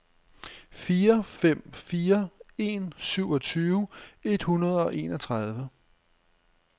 fire fem fire en syvogtyve et hundrede og enogtredive